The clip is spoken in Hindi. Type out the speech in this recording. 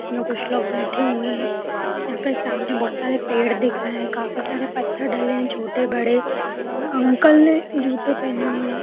इसमे कुछ लोग बैठे हुए है | यहाँ पर सामने बहोत सारे पेड़ दिख रहे हैं | काफी सारे पत्थर डले हुए है छोटे बड़े | अंकल ने जूते पहने हुए हैं।